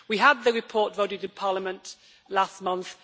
We had the report voted in Parliament last month.